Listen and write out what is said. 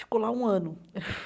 Ficou lá um ano.